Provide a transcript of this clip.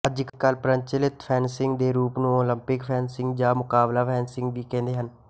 ਅੱਜਕੱਲ੍ਹ ਪ੍ਰਚੱਲਤ ਫੈਨਸਿੰਗ ਦੇ ਰੂਪ ਨੂੰ ਉਲੰਪਿਕ ਫ਼ੈਨਸਿੰਗ ਜਾਂ ਮੁਕਾਬਲਾ ਫ਼ੈਨਸਿੰਗ ਵੀ ਕਹਿੰਦੇ ਹਨ